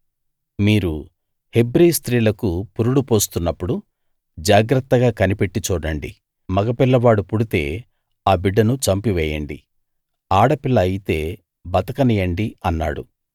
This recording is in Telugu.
మీరు హెబ్రీ స్త్రీలకు పురుడు పోస్తున్నప్పుడు జాగ్రత్తగా కనిపెట్టి చూడండి మగ పిల్లవాడు పుడితే ఆ బిడ్డను చంపివేయండి ఆడ పిల్ల అయితే బతకనియ్యండి అన్నాడు